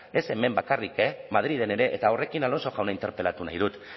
ez hemen bakarrik e madrilen ere eta horrekin alonso jauna interpelatu nahi dut